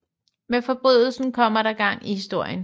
Med forbrydelsen kommer der gang i historien